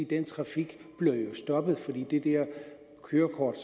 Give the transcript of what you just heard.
den trafik bliver stoppet for det kørekort